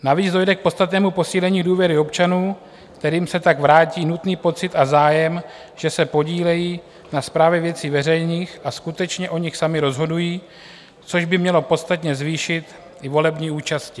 Navíc dojde k podstatnému posílení důvěry občanů, kterým se tak vrátí nutný pocit a zájem, že se podílejí na správě věcí veřejných a skutečně o nich sami rozhodují, což by mělo podstatně zvýšit i volební účast.